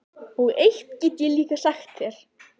Og eitt get ég líka sagt þér